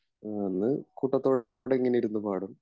ആ അന്ന് കൂട്ടത്തോടെ ഇങ്ങനിരുന്നു പാടും